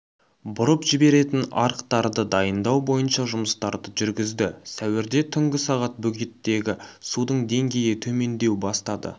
бұрып жіберетін арықтарды дайындау бойынша жұмыстарды жүргізді сәуірде түнгі сағат бөгеттегі судың деңгейі төмендеу бастады